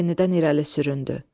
O yenidən irəli süründü.